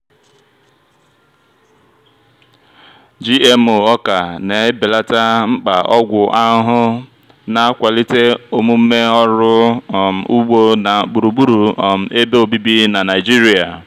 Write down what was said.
gmo ọka na-ebelata mkpa ọgwụ ahụhụ na-akwalite omume ọrụ um ugbo na gburugburu um ebe obibi na nigeria.